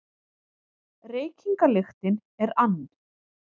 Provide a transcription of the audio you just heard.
Reykingalyktin er ann